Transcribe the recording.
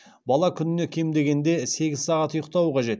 бала күніне кем дегенде сегіз сағат ұйықтауы қажет